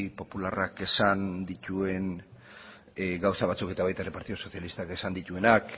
popularrak esan dituen gauza batzuekin eta baita ere partidu sozialistak esan dituenak